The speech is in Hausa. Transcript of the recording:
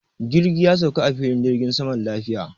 Jirgi ya sauka a filin jirgin sama lafiya.